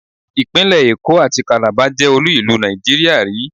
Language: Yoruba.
Ìpínlẹ̀ Èkó àti Kàlábá jẹ́ olú-ìlú Nàìjíríà rì í.